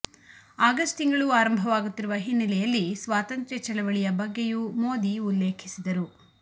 August ತಿಂಗಳು ಆರಂಭವಾಗುತ್ತಿರುವ ಹಿನ್ನೆಲೆಯಲ್ಲಿ ಸ್ವಾತಂತ್ರ್ಯ ಚಳವಳಿಯ ಬಗ್ಗೆಯೂ ಮೋದಿ ಉಲ್ಲೇಖಿಸಿದರು